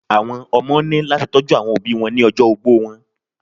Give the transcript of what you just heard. Àwọn ọmọ ní láti tọ́jú àwọn òbíi wọn lọ́jọ́ ogbó wọn.